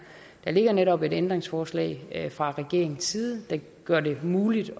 der ligger netop et ændringsforslag fra regeringens side der gør det muligt